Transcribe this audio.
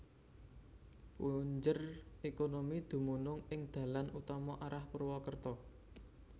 Punjer ékonomi dumunung ing dalan utama arah Purwakerta